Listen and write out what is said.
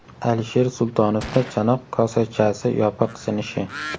Alisher Sultonovda chanoq kosachasi yopiq sinishi.